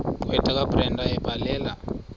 gqwetha kabrenda ebhalela